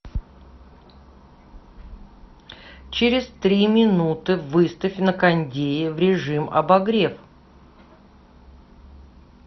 через три минуты выставь на кондее в режим обогрев